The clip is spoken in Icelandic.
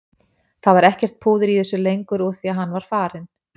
Það var ekkert púður í þessu lengur úr því að hann var farinn.